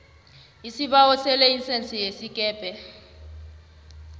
isibawo selayisense yesikebhe